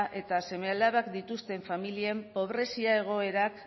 eta seme alabak dituzten familien pobrezia egoerak